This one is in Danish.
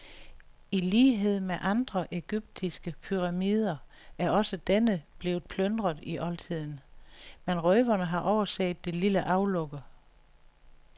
I lighed med andre egyptiske pyramider er også denne blevet plyndret i oldtiden, men røverne har overset det lille aflukke.